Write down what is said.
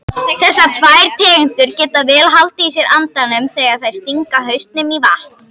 Þessar tvær tegundir geta vel haldið í sér andanum þegar þær stinga hausnum í vatn.